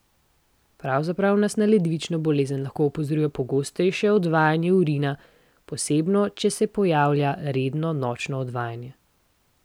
Pravzaprav nas na ledvično bolezen lahko opozori pogostejše odvajanje urina, posebno če se pojavlja redno nočno odvajanje.